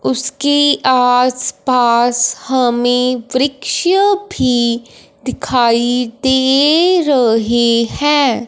उसके आस पास हमें वृक्ष भी दिखाई दे रहे हैं।